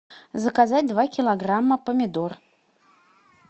заказать два килограмма помидор